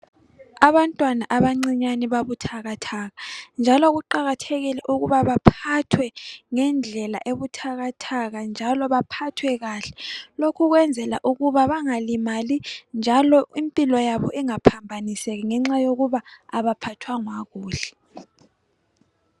Abantwana abancinyane babuthakathaka njalo kuqakathekile ukuba baphathwe ngendlela ebuthakathaka njalo baphathwe kahle lokhu owenzela ukuthi bengalimali njalo impilo yabo ingaphambaniseki ngenxa yokuthi abaphathwanga kuhle.